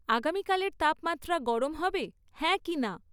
আগামীকালের তাপমাত্রা গরম হবে, হ্যাঁ কি না?